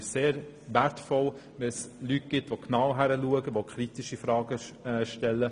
Manchmal ist es sehr wertvoll, wenn es Leute gibt, die genau hinschauen und kritische Fragen stellen.